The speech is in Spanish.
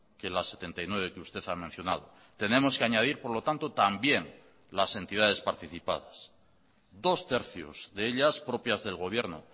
que las setenta y nueve que usted ha mencionado tenemos que añadir por lo tanto también las entidades participadas dos tercios de ellas propias del gobierno